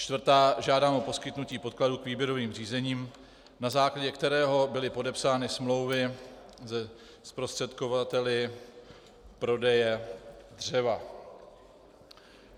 Čtvrtá, žádám o poskytnutí podkladů k výběrovým řízením, na základě kterého byly podepsány smlouvy se zprostředkovateli prodeje dřeva.